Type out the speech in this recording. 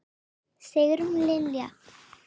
Sigrún Lilja.